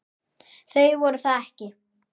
Þau voru það ekki.